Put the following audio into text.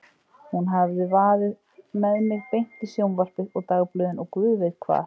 Hún hefði vaðið með mig beint í sjónvarpið og dagblöðin og guð veit hvað.